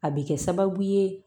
A bɛ kɛ sababu ye